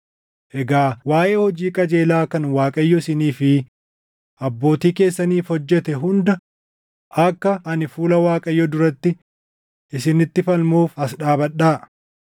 Egaa waaʼee hojii qajeelaa kan Waaqayyo isinii fi abbootii keessaniif hojjete hunda akka ani fuula Waaqayyoo duratti isinitti falmuuf as dhaabadhaa.